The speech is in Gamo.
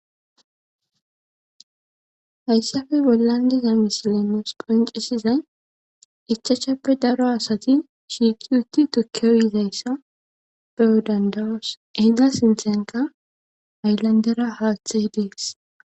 Hayssappe bollan diiza missiely nus qonccisizayssi ichashshappe daaro asa shiqqi uttidi tuuke uyishshe dettes.